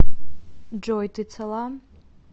джой ты цела